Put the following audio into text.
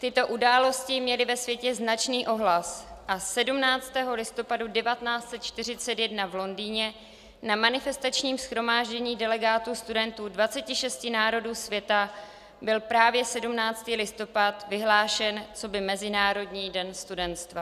Tyto události měly ve světě značný ohlas a 17. listopadu 1941 v Londýně na manifestačním shromáždění delegátů studentů z 26 národů světa byl právě 17. listopad vyhlášen coby Mezinárodní den studentstva.